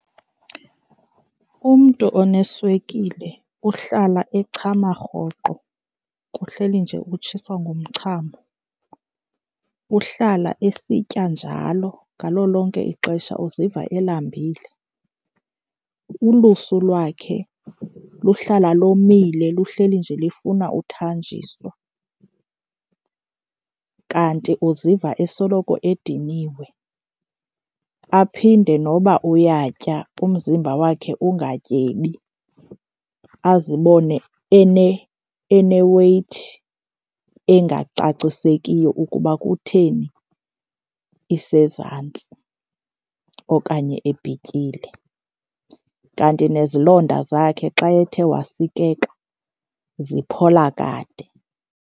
Umntu oneswekile uhlala echama rhoqo, kuhleli nje utshiswa ngumchamo. Uhlala esitya njalo, ngalo lonke ixesha uziva elambile. Ulusu lwakhe luhlala lomile, luhleli nje lifuna uthanjiswa, kanti uziva esoloko ediniwe. Aphinde noba uyatya umzimba wakhe ungatyebi, azibone ene-weight engacacisekiyo ukuba kutheni isezantsi okanye ebhityile. Kanti nezilonda zakhe xa ethe wasikeka ziphola kade.